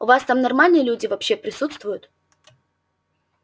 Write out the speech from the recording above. у вас там нормальные люди вообще присутствуют